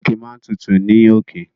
Òkè máa n tutù ní òkè.